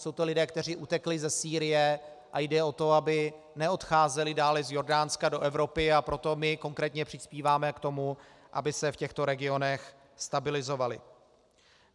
Jsou to lidé, kteří utekli ze Sýrie, a jde o to, aby neodcházeli dále z Jordánska do Evropy, a proto my konkrétně přispíváme k tomu, aby se v těchto regionech stabilizovali.